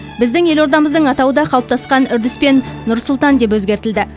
біздің елордамыздың атауы да қалыптасқан үрдіспен нұр сұлтан деп өзгертілді